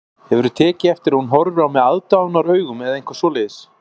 Hefurðu tekið eftir að hún horfi á mig aðdáunaraugum eða eitthvað svoleiðis